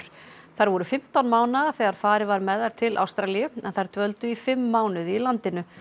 þær voru fimmtán mánaða þegar farið var með þær til Ástralíu en þær dvöldu í fimm mánuði í landinu